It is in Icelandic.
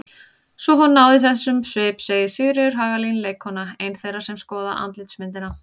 Svo hún náði þessum svip segir Sigríður Hagalín leikkona, ein þeirra sem skoða andlitsmyndina.